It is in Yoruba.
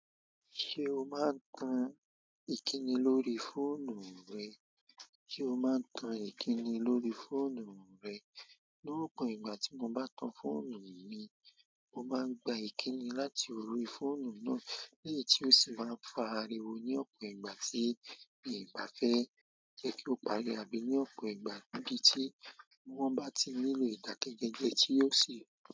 Ṣé o máa ń tan ìkíni lórí fóònù rẹ? Ṣé o máa ń tan ìkíni lórí fóònù rẹ? Lopin ìgbà tí mo bá tan fóònù míì, mo máa ń gba ìkíni lórí fóònù náà, lèyí tí o sì má ń pariwo ní ọpọ ìgbà tí mi o bá fẹ́ jẹ́ kí o pariwo àbí ní ọ̀pọ̀ ìgbà, ní ibi tí wọ́n bá tí nílò idakẹjẹ, tí o sì.